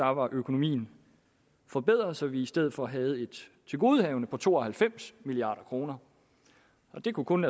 var økonomien forbedret så vi i stedet for havde et tilgodehavende på to og halvfems milliard kroner det kunne kun